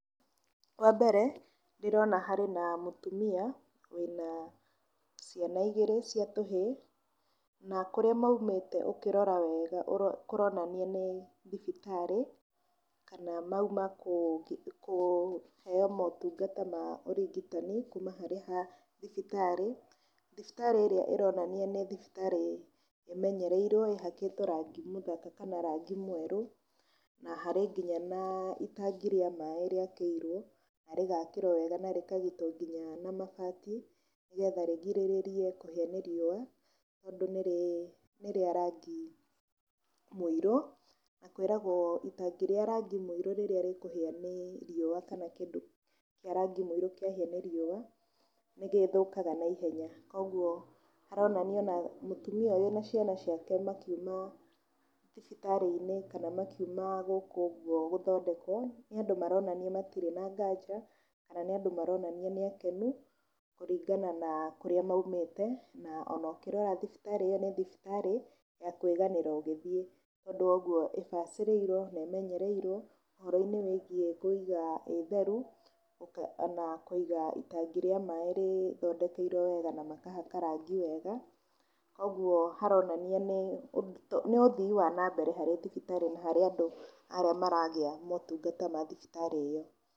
Wa mbere, ndĩrona harĩ na mũtũmia wĩna ciana igĩrĩ cia tũhĩĩ, na kũrĩa maumĩte ũkĩrora wega kũronania nĩ thibitarĩ, kana mauma kũheo motungata ma ũrigitani kuma harĩ ha thibitarĩ. Thibitarĩ ĩrĩa ĩronania nĩ thibitarĩ ĩmenyererirwo ĩhakĩtwo rangi mũthaka kana rangi mwerũ, na harĩ ngĩnya na itangi rĩa maĩĩ rĩakĩirwo na rĩgakĩrwo wega na rĩkagitwo nginya na mabati nĩgetha rĩgirĩrĩrie kũhĩa nĩ riũa, tondũ nĩ rĩa rangi mũirũ, na kwĩragwo itangi rĩa rangi mũirũ rĩrĩa rĩkũhĩa nĩ riũa kana kĩndũ kĩa rangi mũirũ kĩahĩa nĩ riũa nĩ gĩthũkaga na ihenya. Koguo haronania ona mũtumia ũyũ na ciana ciake makiuma thibitarĩ-inĩ kana makiuma gũkũ ũguo gũthondekwo, nĩ andũ maronania matirĩ na nganja kana nĩ andũ maronania nĩ akenu kũringana na kũrĩa maumĩte na ona ũkĩrora thibitarĩ ĩyo nĩ thibitarĩ ya kwĩganĩrwo ũgĩthiĩ. Tondũ wa ũguo ĩbacĩrĩirwo na ĩmenyererirwo ũhoro wĩgiĩ kũiga ĩ theru na kũiga itangi rĩa maĩĩ rĩthondekeirwo wega na makahaka rangi wega, koguo haronania nĩ ũthii wa na mbere harĩ thibitarĩ na harĩ andũ arĩa maragĩa motungata ma thibitarĩ ĩyo.